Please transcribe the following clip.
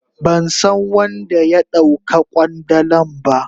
Ban san wan da ya dau ka kwandalan ba.